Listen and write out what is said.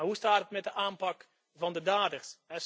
Maar hoe staat het met de aanpak van de daders?